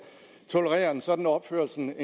tolerere en sådan opførsel